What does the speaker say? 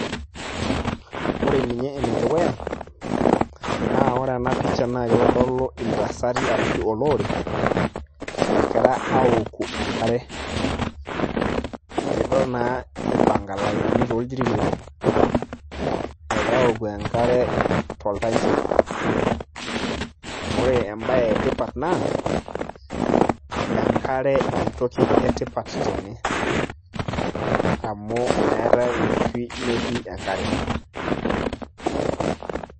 ore ninye ene dukuya naa ore ena pisha naa kitodolu intasati ashu olorere, egira aaoku enkare, nidol naa ipanka ilainini tooljiitii, egira aaoku enkare tolchampa. ore ebae etipat naa enkare entoki etipat tene, amu meetae enkishui metii enkare.